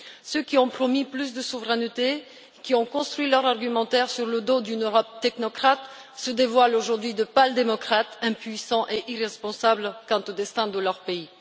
Ceux qui ont promis plus de souveraineté, qui ont construit leur argumentaire sur le thème d'une Europe technocrate, se révèlent aujourd'hui être de pâles démocrates impuissants et irresponsables quant au destin de leur pays.